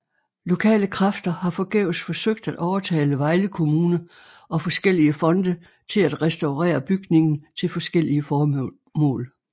Lokale kræfter har forgæves forsøgt at overtale Vejle Kommune og forskellige fonde til at restaurere bygningen til forskellige formål